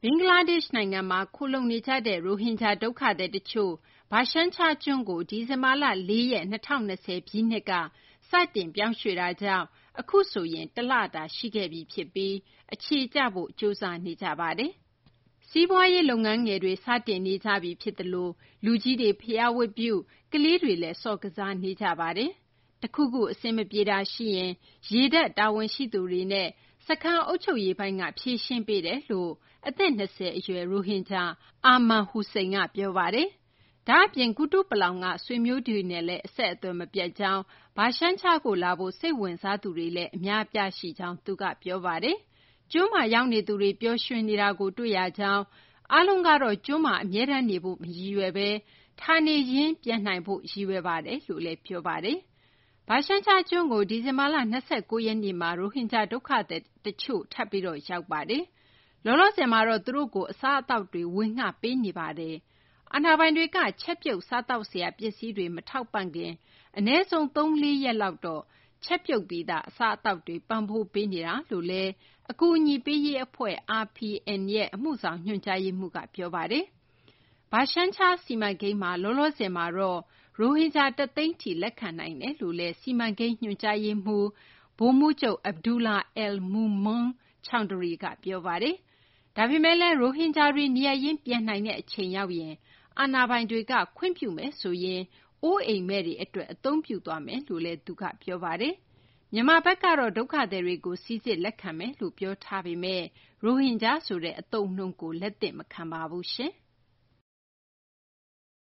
ဘင်္ဂလားဒေရှ့်နိုင်ငံမှာ ခိုလှုံနေကြတဲ့ ရိုဟင်ဂျာ ဒုက္ခသည် တချို့ Bhashan Char ကျွန်းကို ဒီဇင်ဘာလ ၄ ရက် ၂၀၂၀ ပြည့်နှစ်က စတင် ပြောင်းရွှေ့တာကြောင့် အခုဆိုရင် တလတာ ရှိခဲ့ပြီ ဖြစ်ပြီး အခြေကျဖို့ ကြိုးစားနေကြပါတယ်။ စီးပွားရေး လုပ်ငန်းငယ်တွေ စတင်နေပြီ ဖြစ်သလို လူကြီးတွေ ဘုရားဝတ်ပြုပြီး ကလေးတွေလည်း ကစားနေကြပါပြီ။ တခုခု အဆင်မပြေတာ ရှိရင်လည်း ရေတပ် တာဝန်ရှိသူတွေနဲ့ စခန်း အုပ်ချုပ်ရေးပိုင်းက ဖြေရှင်းပေးတယ်လို့ အသက် ၂၀ အရွယ် ရိုဟင်ဂျာ Arman Hossain က ပြောပါတယ်။ ဒါ့အပြင် ကုတုပလောင်က ဆွေမျိုးတွေနဲ့လည်း အဆက်အသွယ် မပြတ်ကြောင်း၊ Bhashan char ကို လာဖို့ စိတ်ဝင်စားသူတွေလည်း အများအပြား ရှိကြောင်း သူက ပြောပါတယ်။ ကျွန်းမှာ ရောက်နေသူတွေ ပျော်ရွှင်နေတာကို တွေ့ရကြောင်း၊ အားလုံးကတော့ ကျွန်းမှာ အမြဲတမ်းနေဖို့ မရည်ရွယ်ဘဲ ဌာနေပြန်နိုင်ရေးကို ရည်ရွယ်ကြောင်းလည်း ပြောပါတယ်။ Bhashan char ကျွန်းကို ဒီဇင်ဘာလ ၂၉ ရက်နေ့မှာ ရိုဟင်ဂျာ ဒုက္ခသည်တချို့ ထပ်ပြီး ရောက်ပါတယ်။ လောလောဆယ်မှာတော့ သူတို့ကို အစားအသောက်တွေ ပေးနေပါတယ်။ အာဏာပိုင်တွေက ချက်ပြုတ် စားသောက်စရာ ပစ္စည်းတွေ မထောက်ပံ့ခင် အနည်းဆုံး ၃ ရက် - ၄ ရက်လောက်တော့ ချက်ပြုတ်ပြီးသား အစားအသောက်တွေ ပံ့ပိုးပေးနေကြောင်း အကူအညီပေးရေး အဖွဲ့ RPN ရဲ့ အမှုဆောင် ညွှန်ကြားရေးမှူးက ပြောပါတယ်။ Bhashan char စီမံကိန်းမှာ လောလောဆယ်မှာတော့ ရိုဟင်ဂျာ ၁၀၀,၀၀၀ ထိလက်ခံနိုင်တယ်လို့လည်း စီမံကိန်း ညွှန်ကြားရေးမှူး ဗိုလ်မှူးချုပ် Abdullah al Mamun Chawdhury က ပြောပါတယ်။ ဒါပေမယ့်လည်း ရိုဟင်ဂျာတွေ နေရပ်ရင်း ပြန်နိုင်တဲ့ အချိန်ရောက်ရင်တော့ အာဏာပိုင်တွေ ခွင့်ပြုမယ်ဆိုရင် အိုးအိမ်မဲ့တွေ အတွက် အသုံးပြုသွားမယ်လို့လည်း သူက ပြောပါတယ်။ မြန်မာဘက်ကတော့ ဒုက္ခသည်တွေကို စိစစ် လက်ခံမယ် ပြောထားပေမယ့် ရိုဟင်ဂျာဆိုတဲ့ အသုံးအနှုန်းကို လက်မခံပါဘူး။